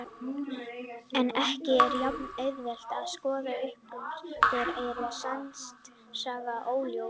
En ekki er jafn-auðvelt að skoða uppruna þeirra og er hann sannast sagna óljós.